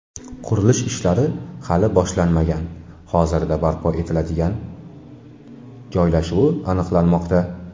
Qurilish ishlari hali boshlanmagan, hozirda barpo etiladigan joylashuvi aniqlanmoqda.